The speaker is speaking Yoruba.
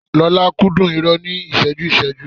Lọ́la kúndùn irọ́ ní ìṣẹ́jú-ìṣẹ́jú